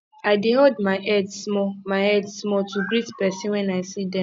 i dey nod my head small my head small to greet pesin wen i see dem